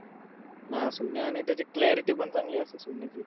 हा. असं नाय-नाय त्याची clarity पण चांगली असते सोनीची.